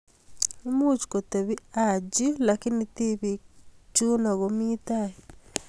Moch kotebii Haji lakini tibiik chino komii tai.